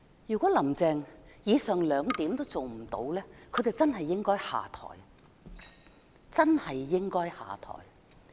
如果"林鄭"連上述兩點也未能做到，她便應該下台，真的應該下台。